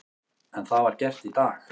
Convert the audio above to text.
En það var gert í dag.